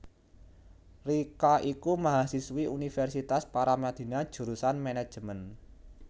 Richa iku mahasiswi Universitas Paramadina jurusan Manajemen